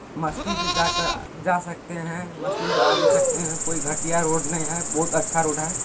मस्ती से जाकर जा सकते हैं मस्ती से आ भी सकते हैं कोई घटिया रोड ने है बहुत अच्छा रोड है।